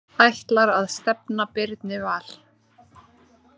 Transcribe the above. Ætlar að stefna Birni Val